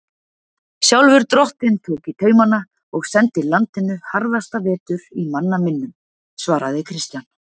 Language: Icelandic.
Sjálfur drottinn tók í taumana og sendi landinu harðasta vetur í manna minnum, svaraði Christian.